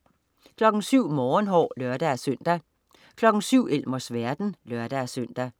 07.00 Morgenhår (lør-søn) 07.00 Elmers verden (lør-søn)